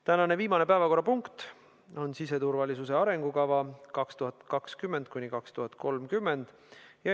Tänane viimane päevakorrapunkt on siseturvalisuse arengukava 2020–2030.